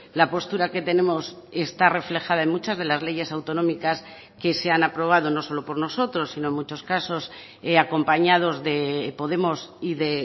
la postura que tenemos está reflejada en muchas de las leyes autonómicas que se han aprobado no solo por nosotros sino en muchos casos acompañados de podemos y de